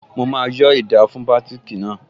Mo máa yọ́ ida fún bátìkì náà